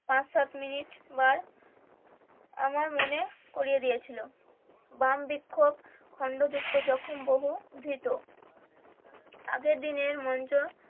পাঁচ সাত মিনিট বার আমার মনে করিয়ে দিয়েছিলো বাম বৃক্ষ খন্ড যখন বহু ভীত আগের দিনের মঞ্চ